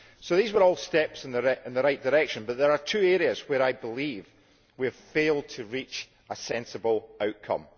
So these were all steps in the right direction, but there are two areas where I believe we have failed to reach a sensible outcome.